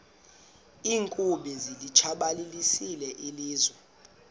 iinkumbi zilitshabalalisile ilizwe